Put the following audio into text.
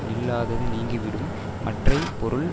நில்லாது நீங்கிவிடும் மற்றை பொருள்